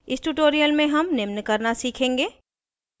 इस tutorial में हम निम्न करना सीखेंगे: